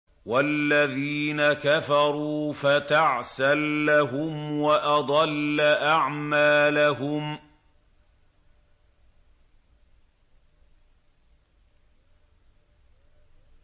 وَالَّذِينَ كَفَرُوا فَتَعْسًا لَّهُمْ وَأَضَلَّ أَعْمَالَهُمْ